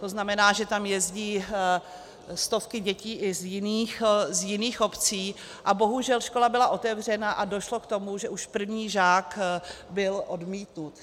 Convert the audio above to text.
To znamená, že tam jezdí stovky dětí i z jiných obcí, a bohužel škola byla otevřena a došlo k tomu, že už první žák byl odmítnut.